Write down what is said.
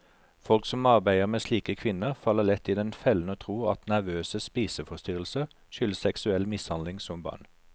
Folk som arbeider med slike kvinner, faller lett i den fellen å tro at nervøse spiseforstyrrelser skyldes seksuell mishandling som barn.